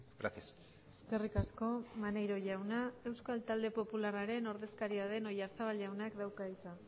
gracias eskerrik asko maneiro jauna euskal talde popularraren ordezkaria den oyarzabal jaunak dauka hitza